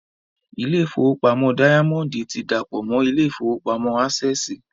Ilé ìfowópamọ́ dáyámọ́ndì ti dàpọ̀ mọ́ ilé ìfowópamọ́ ásẹ̀sì